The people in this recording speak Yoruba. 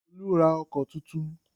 Olú ra ọkọ̀ tuntun.